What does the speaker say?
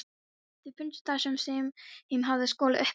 Þeir fundust þar sem þeim hafði skolað upp á ströndina.